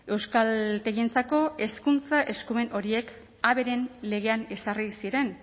euskaltegientzako hezkuntza eskumen horiek haberen legean ezarri ziren